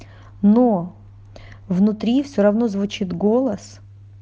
но внутри все равно звучит голос